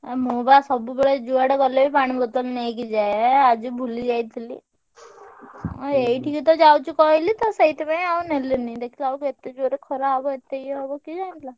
ଆଉ ମୁଁ ବା ସବୁବେଳେ ଯୁଆଡେ ଗଲେ ବି ପାଣି ବୋତଲ ନେଇକି ଯାଏ ଆଜି ଭୁଲି ଯାଇଥିଲି। ଉଁ ଏଇଠିକି ତ ଯାଉଚି କହିଲି ତ ସେଇଥିପାଇଁ ଆଉ ନେଲିନି ଦେଖିଲା ବେଳକୁ ଏତେ ଜୋରେ ଖରା ହବ ଏତେ ଇଏ ହବ କିଏ ଜାଣିଥିଲା।